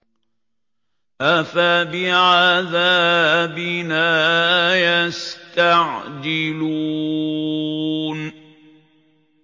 أَفَبِعَذَابِنَا يَسْتَعْجِلُونَ